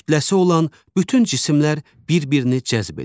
Kütləsi olan bütün cisimlər bir-birini cəzb edir.